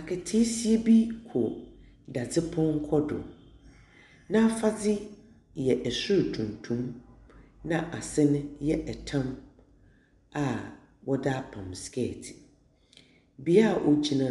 Akataasia bi ko dadzepɔnkɔ do, n’afadze yɛ sor tuntum na ase no yɛ tam a wɔdze apam skɛɛte. Bea ogyina